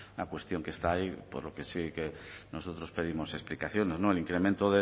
una cuestión que está ahí por lo que sí que nosotros pedimos explicaciones el incremento